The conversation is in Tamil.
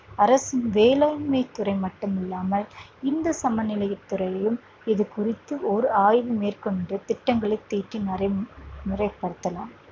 அரசின் வேளாண்மைத்துறை மட்டும் இல்லாமல் இந்து சமய அறநிலை துறையும் இது குறித்து ஒரு ஆய்வு மேற்கொண்டு திட்டங்களை தீட்டி முறை முறைப்படுத்தலாம்